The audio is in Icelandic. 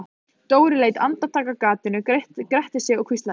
Dóri leit andartak af gatinu, gretti sig og hvíslaði: